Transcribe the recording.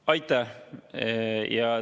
Aitäh!